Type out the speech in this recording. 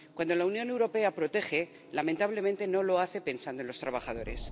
Cuando la Unión Europea protege, lamentablemente no lo hace pensando en los trabajadores.